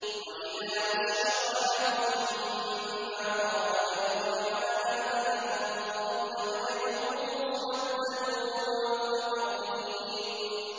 وَإِذَا بُشِّرَ أَحَدُهُم بِمَا ضَرَبَ لِلرَّحْمَٰنِ مَثَلًا ظَلَّ وَجْهُهُ مُسْوَدًّا وَهُوَ كَظِيمٌ